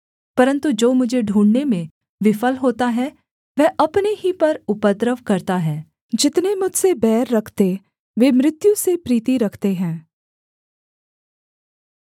परन्तु जो मुझे ढूँढ़ने में विफल होता है वह अपने ही पर उपद्रव करता है जितने मुझसे बैर रखते वे मृत्यु से प्रीति रखते हैं